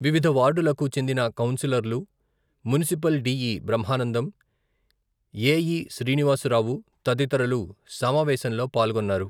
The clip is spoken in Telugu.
వివిధ వార్డులకు చెందిన కౌన్సిలర్లు, మునిసిపల్ డి.ఇ.బ్రహ్మానందం, ఎ.ఇ.శ్రీనివాసరావు, తదితరులు సమావేశంలో పాల్గొన్నారు.